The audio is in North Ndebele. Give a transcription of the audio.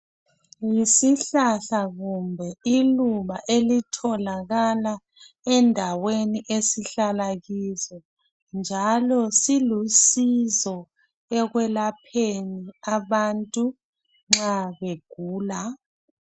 Yisihlahla kumbe iluba elitholakala endaweni esihlala kizo, njalo silusizo ekwelapheni abantu nxa begula.